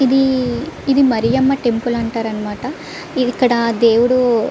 ఇది ఇది మరియమ్మ టెంపుల్ అంటారు అనమాట ఇక్కడ దేవుడు --